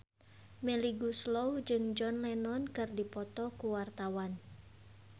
Melly Goeslaw jeung John Lennon keur dipoto ku wartawan